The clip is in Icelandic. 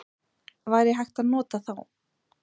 Væri hægt að nota þá?